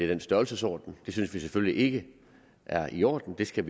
den størrelsesorden det synes vi selvfølgelig ikke er i orden det skal